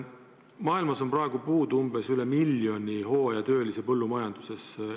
Maailmas on praegu puudu üle miljoni hooajatöölise põllumajanduses.